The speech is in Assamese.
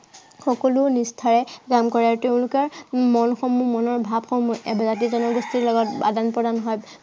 সকলো নিষ্ঠাৰে পালন কৰে আৰু তেওঁলোকে উম মন সমূহ, মনৰ ভাৱসমূহ জাতি জনগোষ্ঠীৰ লগত আদান প্ৰদান হয়।